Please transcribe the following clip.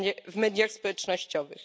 w mediach społecznościowych.